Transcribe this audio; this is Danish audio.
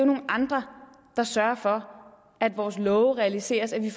nogle andre der sørger for at vores love realiseres at der